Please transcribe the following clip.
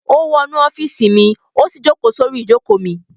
Ó wọnú ọ́fíísì mi, ó sì jókòó sórí ìjókòó mi.